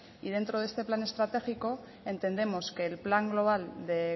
y dentro de este plan estratégico entendemos que el plan global de